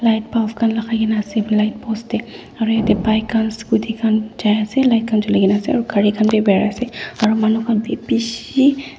light bulb khan lakai kena ase light post tey aro yate bike khan scotty khan jai ase light khan jule kena ase aro gare khan beh berai ase aro manu khan beh beshe--